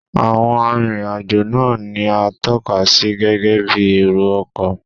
Àwọn arìnrìn-àjò náà ni à ń tọ́ka sí gẹ́gẹ́ bí èrò ọkọ̀